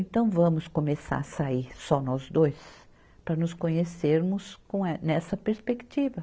Então vamos começar a sair, só nós dois, para nos conhecermos com eh, nessa perspectiva.